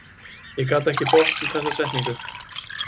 Ég gat ekki botnað þessa setningu.